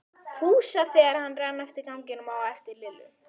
Fúsa þar sem hann rann eftir ganginum á eftir Lillu.